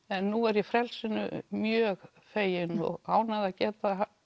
en nú er ég frelsinu mjög fegin og ánægð að geta